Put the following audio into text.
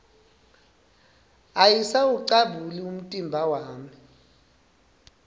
ayisawucabuli umtimba wami